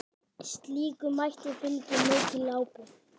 Slíkum mætti fylgir mikil ábyrgð.